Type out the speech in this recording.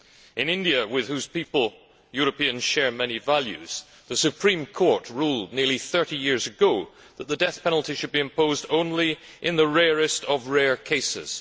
In India, with whose people Europeans share many values, the Supreme Court ruled nearly 30 years ago that the death penalty should be imposed only in the rarest of rare cases